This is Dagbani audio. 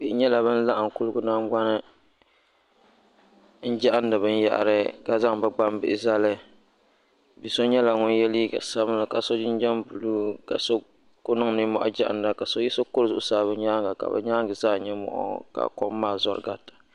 bihi nyɛla ban laɣigim kuli noli n kahidi bɛniyahira ka zaŋ bɛ gbanbihi zali so nyɛla ŋɔ yɛ liga sabinli ka so jijam bulu ka so kuli niŋ nimohi gahida ka so yiɣisi kuri bɛ nyɛŋa ka be nyɛŋa zaa nyɛ moɣuka kom maa zori garita